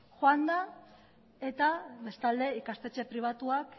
joan da eta bestalde ikastetxe pribatuak